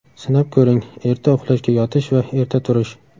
Sinab ko‘ring: Erta uxlashga yotish va erta turish.